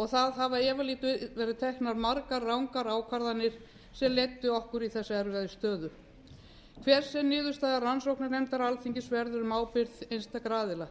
og það hafa efalítið verið teknar margar rangar ákvarðanir sem leiddu okkar erfiðu stöðu hver sem niðurstaða rannsóknarnefnda alþingis verður um ábyrgð einstakra aðila